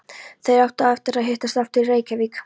Þeir áttu eftir að hittast aftur í Reykjavík.